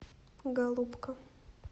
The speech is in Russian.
голубка